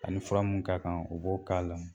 A ni fura mun ka kan, o b'o k'a la.